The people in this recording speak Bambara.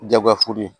Jagoya f'u ye